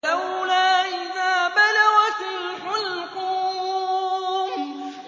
فَلَوْلَا إِذَا بَلَغَتِ الْحُلْقُومَ